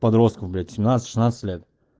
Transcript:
подростков блять семнадцать шестнадцать лет